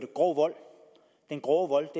grov vold og den grove